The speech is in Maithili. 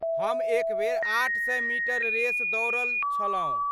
हम एक बेर आठ सए मीटर रेस दौड़ल छलहुँ।